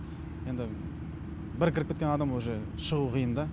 енді бір кіріп кеткен адамға уже шығу қиын да